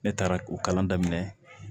Ne taara o kalan daminɛ